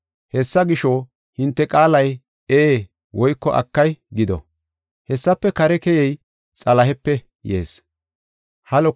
Hessa gisho, hinte qaalay, ‘Ee’ woyko ‘Akay’ gido. Hessafe kare keyey Xalahepe yees.